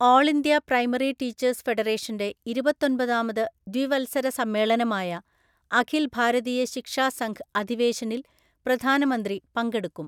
ഓള്‍ India primary teachers ഫെഡറേഷന്റെ ഇരുപത്തൊന്‍പതാമത് ദ്വിവത്സര സമ്മേളനമായ അഖില്‍ ഭാരതീയ ശിക്ഷാ സംഘ് അധിവേശനില്‍ പ്രധാനമന്ത്രി പങ്കെടുക്കും.